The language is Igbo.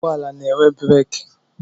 Ụgbọala na-enwe breeki.